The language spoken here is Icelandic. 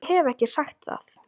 Ég hef ekki sagt það!